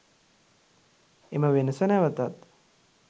එම වෙනස නැවතත්